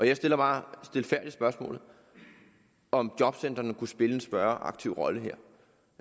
jeg stiller bare stilfærdigt spørgsmålet om jobcentrene kunne spille en større aktiv rolle her